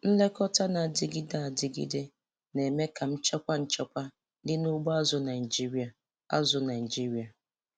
Nlekọta na-adịgide adịgide na-eme ka nchekwa nchekwa dị na ugbo azụ̀ Naịjiria. azụ̀ Naịjiria.